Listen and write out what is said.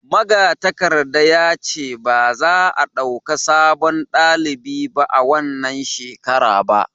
magatakarda ya ce ba za a dauka sabon dalibi a wannan shekara ba